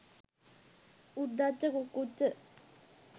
උද්ධච්ච කුක්කුච්ච.